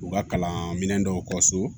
U ka kalan minɛn dɔw ka so